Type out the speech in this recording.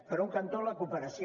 per un cantó la cooperació